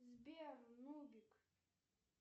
сбер нубик